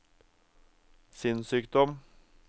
sinnssykdom